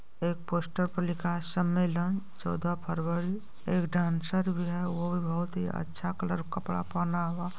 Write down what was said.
एक पोस्टर पर लिखा है सम्मेलन चौदह फरवरी एक डांसर भी है वो भी बहुत ही अच्छा कलर का कपड़ा पहना हुआ।